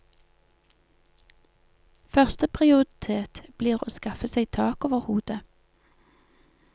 Første prioritet blir å skaffe seg tak over hodet.